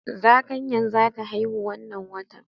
Zakanya zata haihu wanna watan